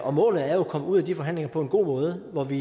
og målet er jo at komme ud af de forhandlinger på en god måde hvor vi